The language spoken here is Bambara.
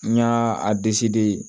N y'a a de ye